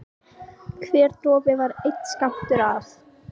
Þórbergur hefur fengið inni hjá Runólfi Guðmundssyni að